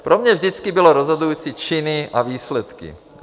Pro mě vždycky byly rozhodující činy a výsledky.